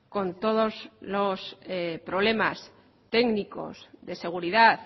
con todos los problemas técnicos de seguridad